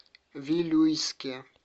вилюйске